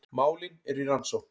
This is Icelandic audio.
Málin eru í rannsókn